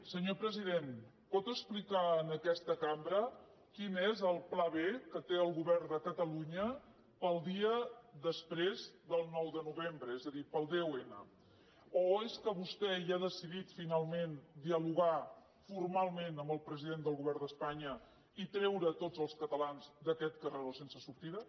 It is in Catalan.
senyor president pot explicar en aquesta cambra quin és el pla b que té el govern de catalunya per al dia després del nou de novembre és a dir per al deu n o és que vostè ja ha decidit finalment dialogar formalment amb el president del govern d’espanya i treure tots els catalans d’aquest carreró sense sortida